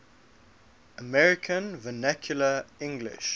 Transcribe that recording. american vernacular english